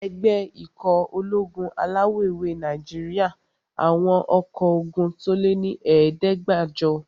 Ẹgbẹ́ ikọ̀ ológun alawọ̀-ewé Nàìjíríyà àwọn ọkọ́ ogun tó lé ní ẹ̀ẹ́dẹ́gbàjọ